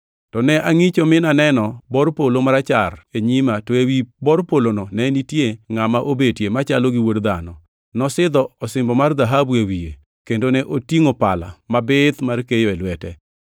To ne angʼicho, mi naneno bor polo marachar e nyima, to ewi bor polono ne nitie ngʼama obetie “machalo gi wuod dhano.” + 14:14 \+xt Dan 7:13\+xt* Nosidho osimbo mar dhahabu e wiye, kendo ne otingʼo pala mabith mar keyo e lwete.